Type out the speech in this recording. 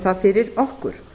það fyrir okkur